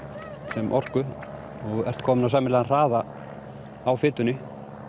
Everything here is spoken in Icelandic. sem orku og þú ert kominn á sæmilegan hraða á fitunni